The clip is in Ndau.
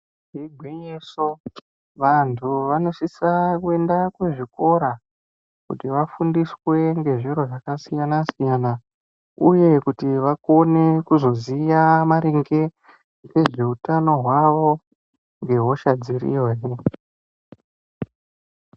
Igwinyiso vantu vanosisa kuenda kuzvikora kuti vafundiswe ngezviro zvakasiyana-siyana uye kuti vakone kuziva maringe nezvehutano hwavo nehosha dziriyo he.